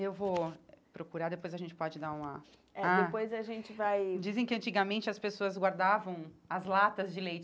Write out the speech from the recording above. Eu vou procurar, depois a gente pode dar uma... É, ah depois a gente vai... Dizem que antigamente as pessoas guardavam as latas de leite.